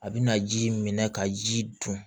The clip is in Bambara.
A bɛna ji minɛ ka ji dun